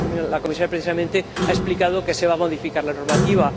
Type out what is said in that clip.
la Comisaria precisamente ha explicado que se va a modificar la normativa.